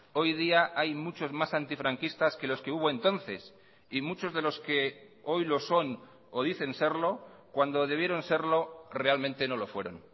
hoy día hay muchos más antifranquistas que los que hubo entonces y muchos de los que hoy lo son o dicen serlo cuando debieron serlo realmente no lo fueron